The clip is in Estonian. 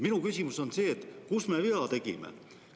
Minu küsimus on see: kus me vea tegime?